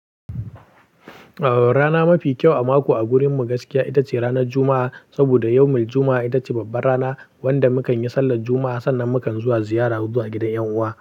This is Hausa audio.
Ehh, rana mafi kyau a mako a gurin mu gaskiya ita ce ranar Juma'a. Saboda yawmu Juma'a ita ce babbar rana wanda mukan yi sallar Juma'a. Sannan mukan zuwa ziyara zuwa gidan 'yan'uwa.